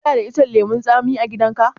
Kana da icen lemun tsami a gidan ka?